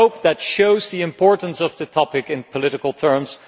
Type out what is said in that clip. I hope that shows the importance of the topic in political terms.